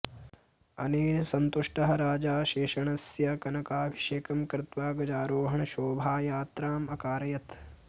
अनेन सन्तुष्टः राजा शेषण्णस्य कनकाभिषेकं कृत्वा गजारोहणशोभायात्राम् अकारयत्